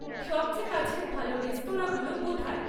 সবচেয়ে কাছের ভালো রেস্তরাঁঁগুলো কোথায়?